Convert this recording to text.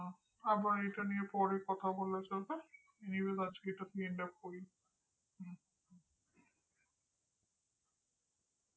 হ্যাঁ হ্যাঁ আবার এটা নিয়ে পরে কথা চলবে news আজকে এটা দিয়ে end up করি